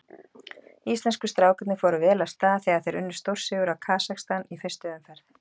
Íslensku strákarnir fóru vel af stað þegar þeir unnu stórsigur á Kasakstan í fyrstu umferð.